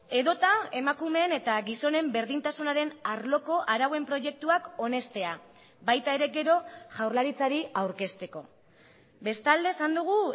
edota emakumeen eta gizonen berdintasunaren arloko arauen proiektuak onestea baita ere gero jaurlaritzari aurkezteko bestalde esan dugu